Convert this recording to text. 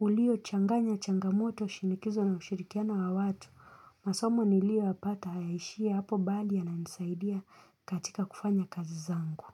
Uliochanganya changamoto shinikizo na ushirikiano wa watu, masomo niliyoyapata hayaishii hapo bali yananisaidia katika kufanya kazi zangu.